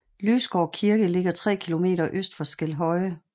Lysgård Kirke ligger 3 km øst for Skelhøje